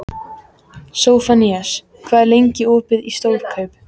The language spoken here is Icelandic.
Sophanías, hvað er lengi opið í Stórkaup?